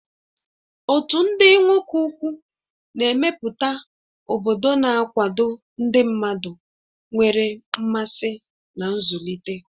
Otu ndị nwoke ukwu na-emepụta obodo na-akwado ndị mmadụ nwere mmasị na nzụlite.